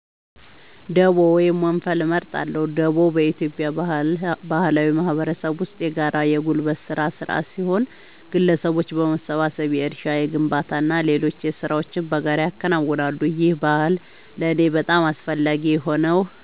ደቦ ወይም ወንፈል እመርጣለሁ። ደቦ በኢትዮጵያ ባህላዊ ማህበረሰብ ውስጥ የጋራ የጉልበት ሥራ ሥርዓት ሲሆን፣ ግለሰቦች በመሰባሰብ የእርሻ፣ የግንባታና ሌሎች ሥራዎችን በጋራ ያከናውናሉ። ይህ ባህል ለእኔ በጣም አስፈላጊ የሆነው